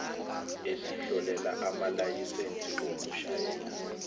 esihlolela amalayisensi okushayela